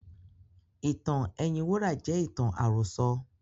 Ìtàn ẹyin wúrà jẹ́ ìtàn àròsọ.